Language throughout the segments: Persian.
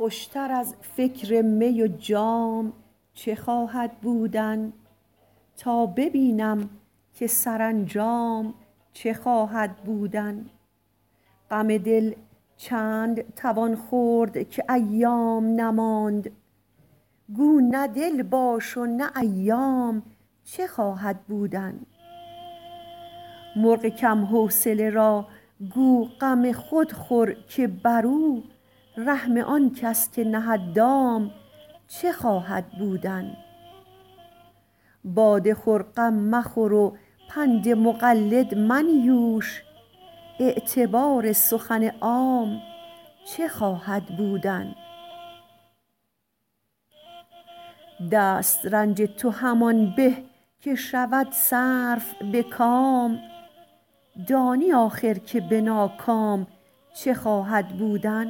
خوش تر از فکر می و جام چه خواهد بودن تا ببینم که سرانجام چه خواهد بودن غم دل چند توان خورد که ایام نماند گو نه دل باش و نه ایام چه خواهد بودن مرغ کم حوصله را گو غم خود خور که بر او رحم آن کس که نهد دام چه خواهد بودن باده خور غم مخور و پند مقلد منیوش اعتبار سخن عام چه خواهد بودن دست رنج تو همان به که شود صرف به کام دانی آخر که به ناکام چه خواهد بودن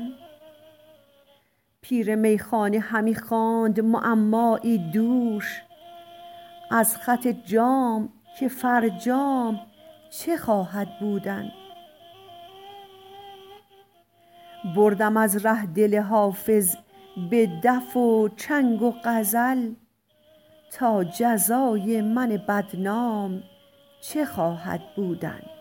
پیر میخانه همی خواند معمایی دوش از خط جام که فرجام چه خواهد بودن بردم از ره دل حافظ به دف و چنگ و غزل تا جزای من بدنام چه خواهد بودن